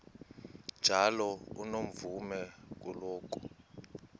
njalo unomvume kuloko